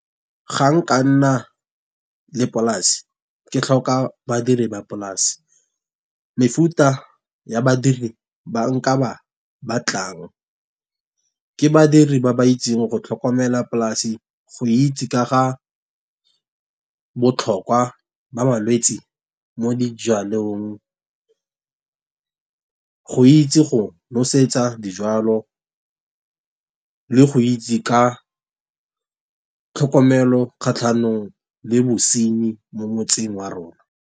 Ga nka nna le polase, ke tlhoka badiri ba polase. Mefuta ya badiri ba nka ba batlang ke badiri ba ba itseng go tlhokomela polase. Go itse ka ga botlhokwa ba malwetsi mo dijalong. Go itse go nosetsa dijwalo, le go itse ka tlhokomelo kgatlhanong le bosenyi mo motseng wa rona.